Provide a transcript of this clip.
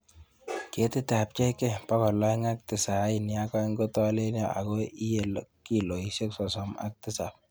Ketitab JK292 kotolelion ago iye kilosiek sosom ak tisab